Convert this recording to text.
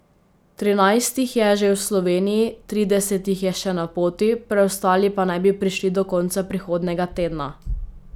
Trinajst jih je že v Sloveniji, trideset jih je še na poti, preostali pa naj bi prišli do konca prihodnjega tedna.